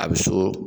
A bɛ so